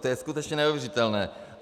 To je skutečně neuvěřitelné.